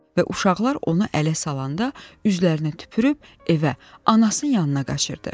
və uşaqlar onu ələ salanda, üzlərinə tüpürüb, evə, anasının yanına qaçırdı.